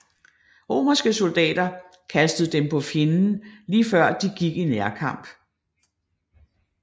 Romerske soldater kastede dem på fjenden lige før de gik i nærkamp